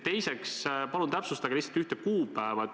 Teiseks, palun täpsustage lihtsalt ühte kuupäeva.